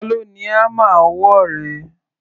Ta ló ni hámà ọwọ́ rẹ?